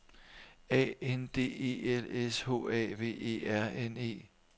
A N D E L S H A V E R N E